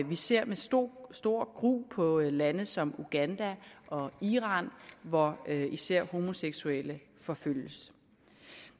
vi ser med stor stor gru på lande som uganda og iran hvor især homoseksuelle forfølges